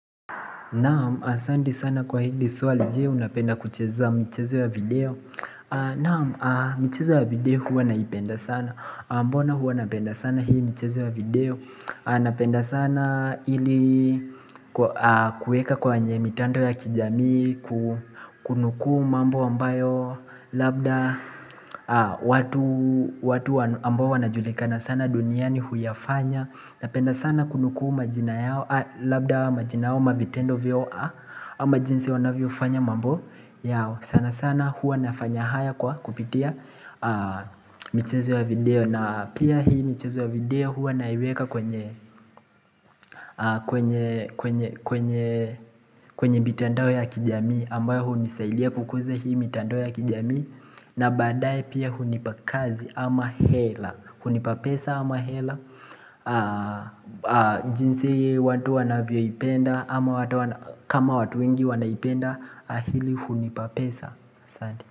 Naam, asanti sana kwa hili swali je unapenda kucheza michezo ya video Naam, michezo ya video huwa naipenda sana Mbona huwa napenda sana hii michezo ya video Napenda sana ili kueka kwenye mitandao ya kijamii Kunukuu mambo ambayo labda watu ambayo wanajulikana sana duniani huyafanya Napenda sana kunukuu majina yao Labda majina ama vitendo vyao ama jinsi wanavyo fanya mambo yao sana sana hua nafanya haya kwa kupitia michezo ya video na pia hii michezo ya video hua naiweka kwenye kwenye mitandao ya kijamii ambayo hunisaidia kukuza hii mitandao ya kijamii na badaye pia hunipa kazi ama hela hunipa pesa ama hela jinsi watu wanavio ipenda ama kama watu wengi wanaipenda hili hunipa pesa Asante.